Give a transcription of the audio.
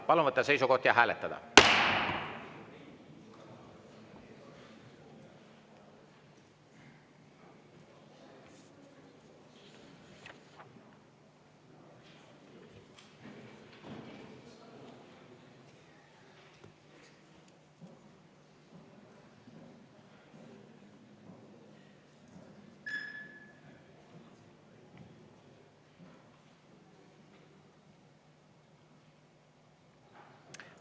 Palun võtta seisukoht ja hääletada!